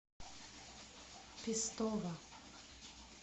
пестово